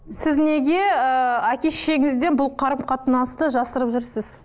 сіз неге ыыы әке шешеңізден бұл қарым қатынасты жасырып жүрсіз